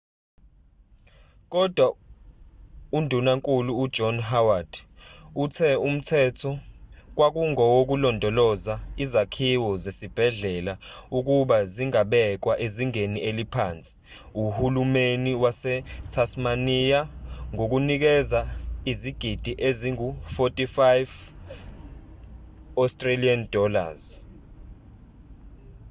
kodwa undunankulu ujohn howard uthe umthetho kwakungowokulondoloza izakhiwo zesibhedlela ukuba zingabekwa ezingeni eliphansi uhulumani wasetasmania ngokunikeza izigidi engu-aud$45